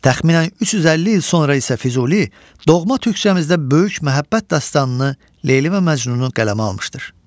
Təxminən 350 il sonra isə Füzuli doğma türkcəmizdə böyük məhəbbət dastanını Leyli və Məcnunu qələmə almışdır.